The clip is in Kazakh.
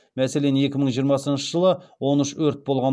мәселен екі мың жиырмасыншы жылы он үш өрт болған